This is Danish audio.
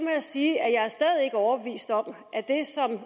jeg sige at jeg stadig er overbevist om